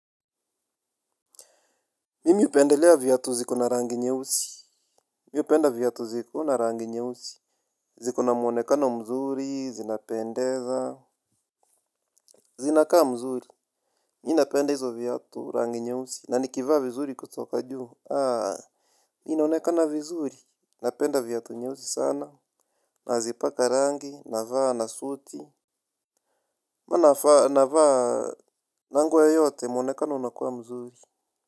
Mimi hupendelea vyatu zikona rangi nyeusi. Mimi hupenda viatu zikona rangi nyeusi. Zikona mwonekano mzuri, zinapendeza. Zinakaa mzuri. Nina penda hizo viatu, rangi nyeusi. Na nikivaa vizuri kutoka juu. Ninaonekana vizuri. Napenda vyatu nyeusi sana. Nazipaka rangi, navaa, na suti. Huwa navaa, navaa, na nguo yoyote mwonekano unakuwa mzuri.